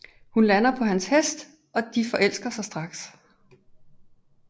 Hun lander på hans hest og de forelsker sig straks